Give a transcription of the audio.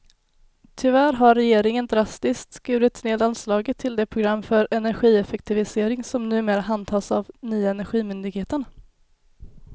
Tyvärr har regeringen drastiskt skurit ned anslaget till det program för energieffektivisering som numera handhas av nya energimyndigheten.